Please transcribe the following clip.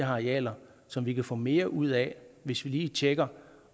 arealer som vi kan få mere ud af hvis vi lige tjekker